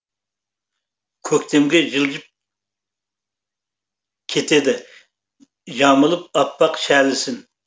көктемге жылжып кетеді жамылып аппақ шәлісін